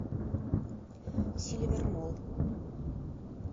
сильвер молл